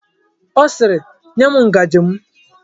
Ọ sịịrị, nye m ngaji m!